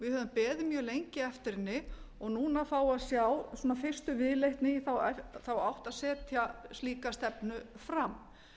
við höfum beðið mjög lengi eftir henni og núna fáum við að sjá fyrstu viðleitni í þá átt að setja slíka stefnu fram